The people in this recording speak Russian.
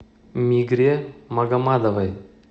мигре магомадовой